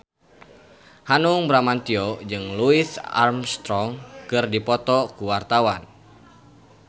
Hanung Bramantyo jeung Louis Armstrong keur dipoto ku wartawan